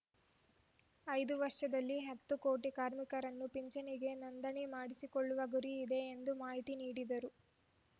ಐದು ವರ್ಷದಲ್ಲಿ ಹತ್ತು ಕೋಟಿ ಕಾರ್ಮಿಕರನ್ನು ಪಿಂಚಣಿಗೆ ನೋಂದಣಿ ಮಾಡಿಸಿಕೊಳ್ಳುವ ಗುರಿಯಿದೆ ಎಂದು ಮಾಹಿತಿ ನೀಡಿದ್ದಾರು